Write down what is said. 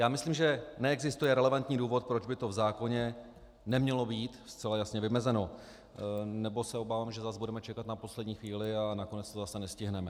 Já myslím, že neexistuje relevantní důvod, proč by to v zákoně nemělo být zcela jasně vymezeno, nebo se obávám, že zase budeme čekat na poslední chvíli a nakonec to zase nestihneme.